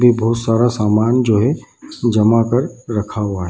ये बहुत सारा सामान जो है जमा कर रखा हुआ है।